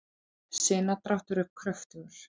sinadráttur er kröftugur